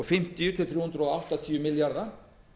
fimmtíu til þrjú hundruð áttatíu milljarða